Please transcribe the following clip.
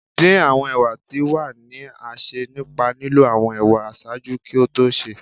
ndin awọn ewa ti wa ni a ṣe nipa lilọ awọn ewa ṣaaju ki o to se